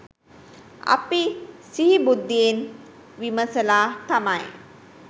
අපි සිහි බුද්ධියෙන් විමසලා තමයි